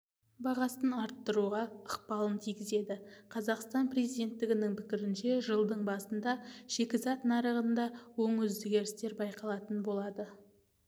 бағасын арттыруға ықпалын тигізеді қазақстан президентінің пікірінше жылдың басында шикізат нарығында оң өзгерістер байқалатын болады